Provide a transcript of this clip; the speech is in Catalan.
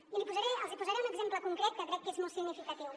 i els hi posaré un exemple concret que crec que és molt significatiu